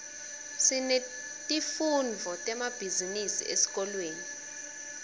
sinetifundvo temabhizinisi esikolweni